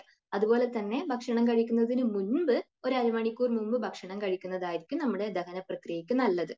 അതുപോലെ തന്നെ ഭക്ഷണം കഴിക്കുന്നതിനു മുൻപ് ഒരു അരമണിക്കൂർ മുൻപ് ഭക്ഷണം കഴിക്കുന്നതായിരിക്കും നമ്മുടെ ദഹനപ്രക്രിയയ്ക്കു നല്ലത്.